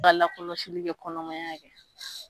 Ba lakɔlɔsili kɛ kɔnɔmaya kɛ